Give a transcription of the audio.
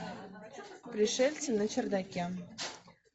пришельцы на чердаке